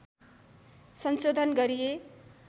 संशोधन गरिए